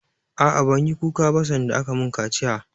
A'a, ban yi kuka ba sanda aka mun kaciya